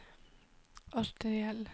arteriell